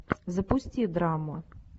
запусти драму